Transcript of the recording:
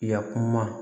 Yakum ma